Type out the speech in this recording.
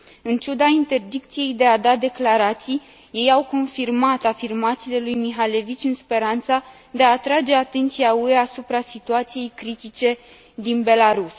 În ciuda interdicției de a da declarații, ei au confirmat afirmațiile lui Mikhalevich în speranța de a atrage atenția UE asupra situației critice din Belarus.